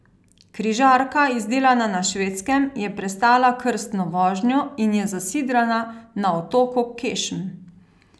Križarka, izdelana na Švedskem, je prestala krstno vožnjo in je zasidrana na otoku Kešm.